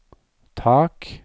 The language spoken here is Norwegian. tak